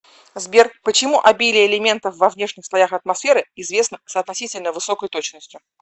сбер почему обилие элементов во внешних слоях атмосферы известно с относительно высокой точностью